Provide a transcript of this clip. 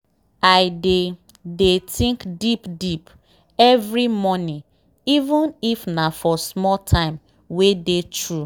i dey dey think deep deep every morning even if nah for small time wey dey true.